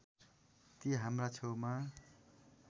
ती हाम्रा छेउमा